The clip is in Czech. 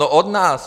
No od nás.